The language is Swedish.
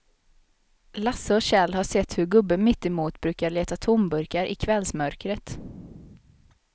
Lasse och Kjell har sett hur gubben mittemot brukar leta tomburkar i kvällsmörkret.